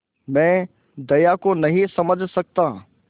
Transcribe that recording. मैं दया को नहीं समझ सकता